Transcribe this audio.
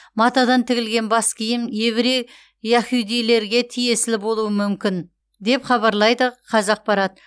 матадан тігілген бас киім еврей яхудилерге тиесілі болуы мүмкін деп хабарлайды қазақпарат